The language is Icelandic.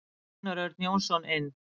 Gunnar Örn Jónsson inn.